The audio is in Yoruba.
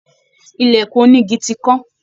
Ìlèkùn onigi ti kán.